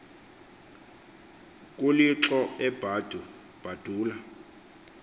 kulhixo ebadu badula